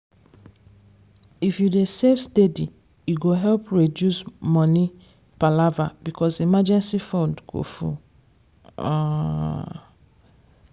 if you dey save steady e go help reduce money palava because emergency fund go full. um